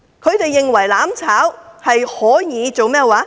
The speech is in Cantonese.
他們以為"攬炒"可以達成甚麼？